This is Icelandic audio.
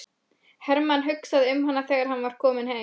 Hermann hugsaði um hana þegar hann var kominn heim.